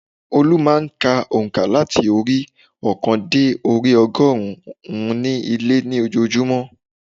Olú má a n ka ònkà láti orí i óòkan dé orí i ogórùn ún ní ilé ní ojoojúmọ́